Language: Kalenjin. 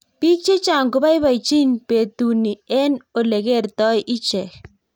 Piik chechang kopaipachin petu nii eng olekertoi ichegei